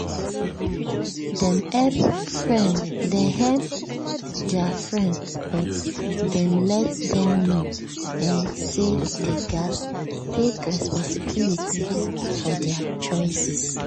dem help their friend but dem let them know um say dey gas take responsibility for their choices